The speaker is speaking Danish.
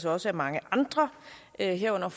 også af mange andre herunder